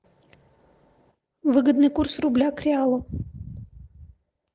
выгодный курс рубля к реалу